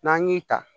N'an y'i ta